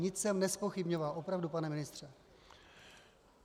Nic jsem nezpochybňoval, opravdu, pane ministře.